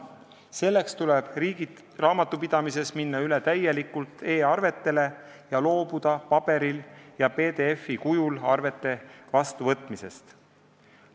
Selleks tuleb riigil raamatupidamises minna üle täielikult e-arvetele ja loobuda paberil ja PDF-kujul arvete vastuvõtmisest.